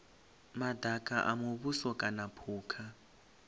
madaka a muvhuso kana phukha